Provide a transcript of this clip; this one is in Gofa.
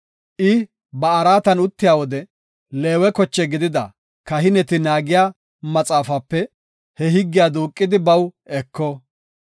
I ba araatan uttiya wode Leewe koche gidida kahineti naagiya maxaafape ha higgiya duuqidi baw eko.